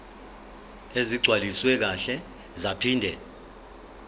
ezigcwaliswe kahle zaphinde